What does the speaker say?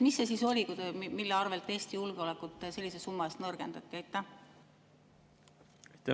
Mis see siis oli, mille arvel Eesti julgeolekut sellise summa ulatuses nõrgendati?